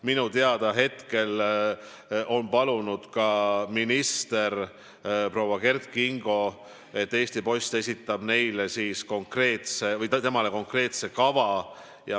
Minu teada on palunud ka minister proua Kert Kingo, et Eesti Post esitab temale konkreetse kava.